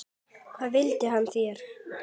Hvað vill hann þér?